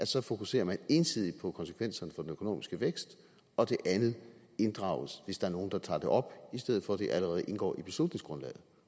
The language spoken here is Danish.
så fokuserer ensidigt på konsekvenserne for den økonomiske vækst og det andet inddrages hvis der er nogen der tager det op i stedet for at det allerede indgår i beslutningsgrundlaget